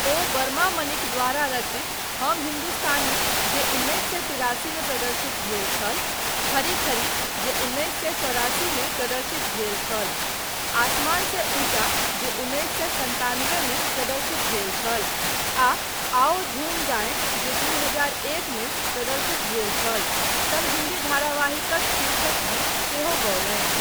ओ बरमा मलिक द्वारा रचित हम हिन्दुस्तानी जे उन्नैस सए तिरासी मे प्रदर्शित भेल छल , खरी खरी जे उन्नैस सए चौरासी मे प्रदर्शित भेल छल, आसमान से ऊँचा जे उन्नैस सए सन्तानबे मे प्रदर्शित भेल छल आ आओ झूम गाए जे दू हजार एक मे प्रदर्शित भेल छल सन हिन्दी धारावाहिकक शीर्षक गीत सेहो गौलनि।